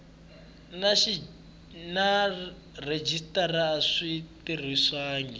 na rhejisitara a swi tirhisiwangi